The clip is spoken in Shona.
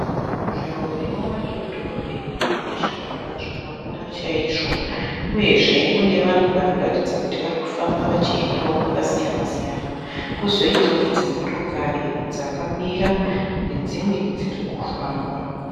Nzvimbo inova iyo dhorobheni ine zvivakwa zvakakura chaizvo uyezve mune vanhu vari kuratidza kuti vari kufamba vachiendawo kwakasiyana -siyana kwozoitawo dzimotokari dzakamira nedzimwe dziri kufamba.